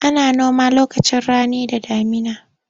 Ana noma lokacin rani da damuna.